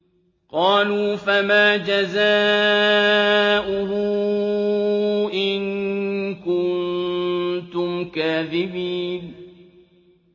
قَالُوا فَمَا جَزَاؤُهُ إِن كُنتُمْ كَاذِبِينَ